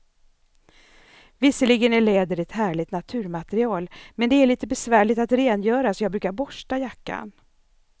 Visserligen är läder ett härligt naturmaterial, men det är lite besvärligt att rengöra, så jag brukar borsta jackan.